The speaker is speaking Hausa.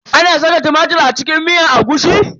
Ana saka tumatir a miyar agushi?